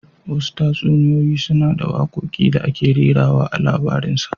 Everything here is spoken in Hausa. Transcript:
Wasu tatsuniyoyi suna da wakoki da aka rera a tsakanin labarinsa